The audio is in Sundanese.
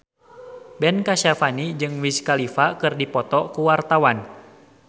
Ben Kasyafani jeung Wiz Khalifa keur dipoto ku wartawan